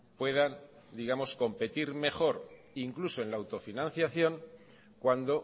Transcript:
puedan competir mejor incluso en la autofinanciación cuando